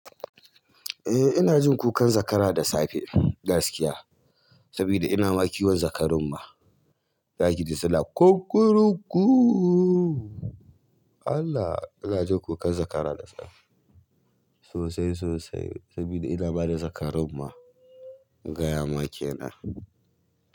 Eh ina jin kukan zakara da safe gaskiya, saboda ina ma kiwon zakarun ma. Za ki ji suna kukurukku. Allah! Ina jin kukan zakara da safe sosai sosai saboda ina ma da zakarun ma gaya ma kenan.